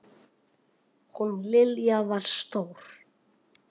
Hún Lilja var stór.